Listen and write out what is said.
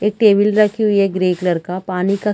एक टेबिल रखी हुई है ग्रे कलर का पानी का--